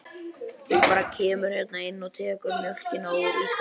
Þú bara kemur hérna inn og tekur mjólkina úr ísskápnum.